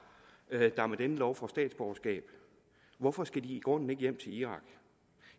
der med denne lov får statsborgerskab hvorfor skal de i grunden ikke hjem til irak